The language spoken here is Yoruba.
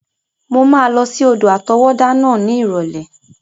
Mo máa lọ sí odò àtọwọ́dá náà ní ìrọ̀lẹ́.